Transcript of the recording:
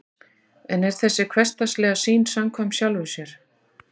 en er þessi hversdagslega sýn samkvæm sjálfri sér